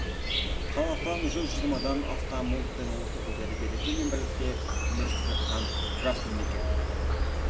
қазақстан жүз жиырмадан астам ұлт пен ұлыс өкілдері береке мен бірлікте өмір сүріп жатқан жас мемлекет